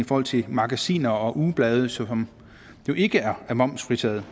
forhold til magasiner og ugeblade som jo ikke er momsfritaget